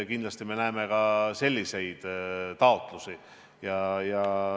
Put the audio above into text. Kindlasti me näeme ka selliseid taotlusi.